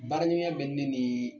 Baara ɲɔgɔnya bɛ ne ni